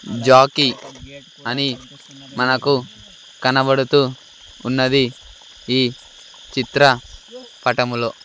Jackie అని మనకు కనబడుతూ ఉన్నది ఈ చిత్ర పటములో.